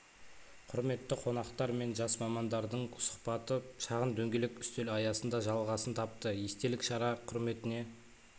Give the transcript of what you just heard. құрметті қонақтар мен жас мамандардың сұхбаты шағын дөңгелек үстел аясында жалғасын тапты естелік шара құрметіне